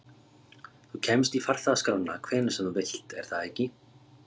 Þú kemst í farþegaskrána hvenær sem þú vilt, er það ekki?